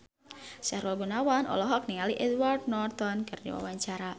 Sahrul Gunawan olohok ningali Edward Norton keur diwawancara